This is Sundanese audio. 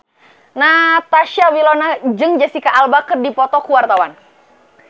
Natasha Wilona jeung Jesicca Alba keur dipoto ku wartawan